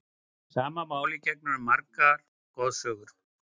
Sama máli gegnir um margar goðsögur.